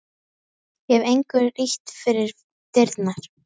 Ég hef engu ýtt fyrir dyrnar.